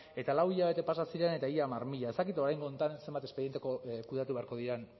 eta lau hilabete pasa ziren eta ia hamar mila ez dakit oraingo honetan zenbat espediente kudeatu beharko diren